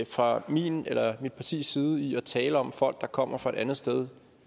fra min eller mit partis side i at tale om folk der kommer fra et andet sted